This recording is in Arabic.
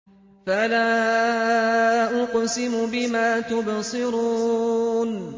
فَلَا أُقْسِمُ بِمَا تُبْصِرُونَ